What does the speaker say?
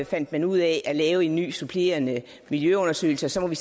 fandt man ud af at lave en ny supplerende miljøundersøgelse og så må vi